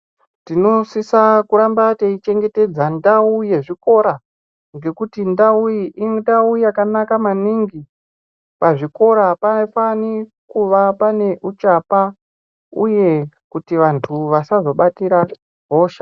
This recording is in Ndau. Tinosisa kuramba teichengetedza ndau yezvikora ngekuti ndau iyi indau yakanaka maningi pazvikora apafani kuva pane uchapa uye kuti vanhu vasazobatire hosha.